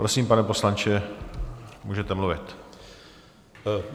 Prosím, pane poslanče, můžete mluvit.